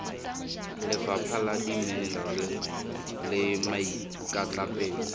lefapha la dimenerale le maikatlapelo